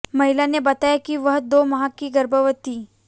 महिला ने बताया कि वह दो माह की गर्भवती